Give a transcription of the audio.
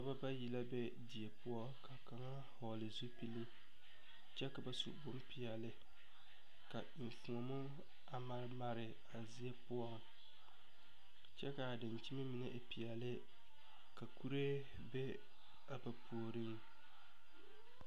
Noɔ bayi la be die poɔ ka kaŋ vɔɔle zupile kyɛ ka ba su bonpeɛɛle ka enfuomo a mare mare a zie poɔŋ kyɛvkaa dankyime mine e peɛɛle ka kuree be a ba puoriŋ.